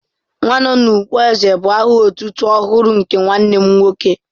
"Nwanọnụkpó èzè" bu aha otutu ọhụrụ nke nwanne m nwoke